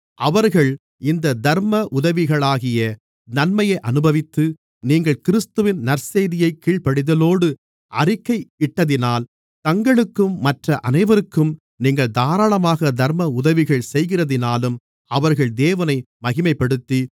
அவர்கள் இந்த தர்ம உதவிகளாகிய நன்மையை அனுபவித்து நீங்கள் கிறிஸ்துவின் நற்செய்தியைக் கீழ்ப்படிதலோடு அறிக்கையிட்டதினால் தங்களுக்கும் மற்ற அனைவருக்கும் நீங்கள் தாராளமாக தர்ம உதவிகள் செய்கிறதினாலும் அவர்கள் தேவனை மகிமைப்படுத்தி